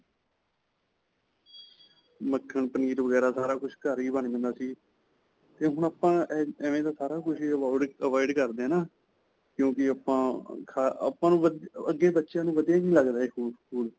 ਮੱਖਣ, ਪਨੀਰ ਵਗੈਰਾ ਸਾਰਾ ਕੁੱਝ ਘਰ ਹੀ ਬਣ ਜਾਂਦਾ ਸੀ 'ਤੇ ਹੁਣ ਆਪਾਂ ਐਐ ਐਂਵੇ ਦਾ ਸਾਰਾ ਕੁੱਝ ਹੀ avoid ਕਰਦੇ ਹੈ ਨਾ, ਕਿਉਂਕਿ ਆਪਾਂ, ਅਅ ਆਪਾਂ ਨੂੰ ਅਅ ਅੱਗੇ ਬੱਚਿਆਂ ਨੂੰ ਵਧੀਆ ਹੀ ਨਹੀਂ ਲਗਦਾ ਇਹ food, food.